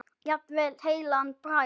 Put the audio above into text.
Jafnvel heilan bragga.